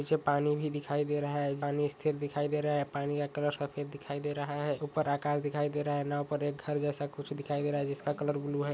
पीछे पानी भी दिखाई दे रहा है पानी स्थिर दिखाई दे रहा है पानी का कलर सफेद दिखाई दे रहा है ऊपर आकाश दिखाई दे रहा है नाव ऊपर एक घर जैसा कुछ दिखाई दे रहा है जिसका कलर ब्लू है।